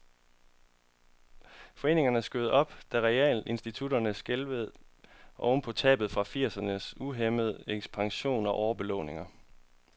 Foreningen skød op, da realkreditinstitutterne skælvede oven på tab fra firsernes uhæmmede ekspansion og overbelåninger.